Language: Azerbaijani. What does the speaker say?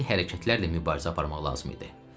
qəti hərəkətlərlə mübarizə aparmaq lazım idi.